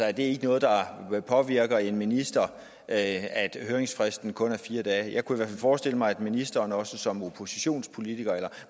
er det ikke noget der påvirker en minister at høringsfristen kun er på fire dage jeg kunne forestille mig at ministeren også som oppositionspolitiker